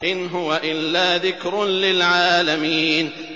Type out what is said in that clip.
إِنْ هُوَ إِلَّا ذِكْرٌ لِّلْعَالَمِينَ